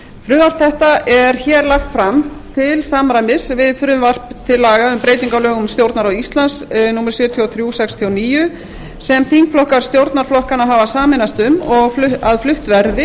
frumvarp þetta er lagt fram til samræmis við frumvarp til laga um breyting á lögum um stjórnarráð íslands númer sjötíu og þrjú nítján hundruð sextíu og níu sem þingflokkar stjórnarflokkanna hafa sameinast um að flutt verði